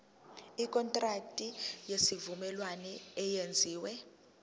ikontraki yesivumelwano eyenziwe